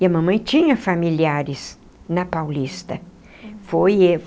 E a mamãe tinha familiares na Paulista foi.